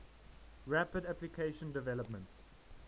rapid application development